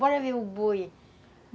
Bora ver o boi.